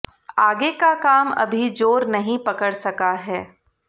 आगे का काम अभी जोर नहीं पकड़ सका है